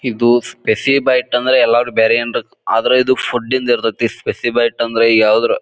ಇದು spicy bite ಅಂದ್ರೆ ಬೇರೆ ಅಂದ್ ಆದ್ರೆ ಇದು ಫುಡ್ ದು ಇರತೈತಿ. ಸ್ಪೆಸಿ ಬೈಟ್ ಅಂದ್ರೆ ಯಾವ್ದ್ರ--